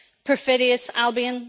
perfidious Albion.